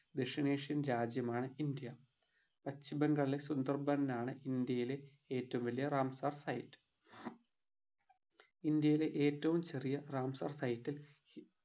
ദക്ഷിണേഷ്യൻ രാജ്യമാണ് ഇന്ത്യ പശ്ചിമബംഗാളിലെ സുന്ദർബന്നാണ് ഇന്ത്യയിലെ ഏറ്റവും വലിയ റാംസാർ site ഇന്ത്യയിലെ ഏറ്റവും ചെറിയ റാംസാർ site ൽ